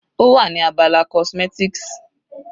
Ó wà ní abala cosmetics.